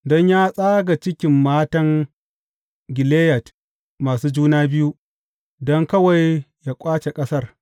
Don ya tsaga cikin matan Gileyad masu juna biyu don kawai yă ƙwace ƙasar.